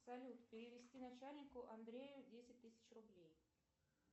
салют перевести начальнику андрею десять тысяч рублей